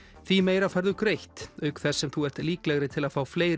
því meira færðu greitt auk þess sem þú ert líklegri til að fá fleiri